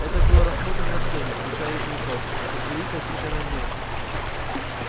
это было рассмотрено всеми включая и жрецов как великая священная месть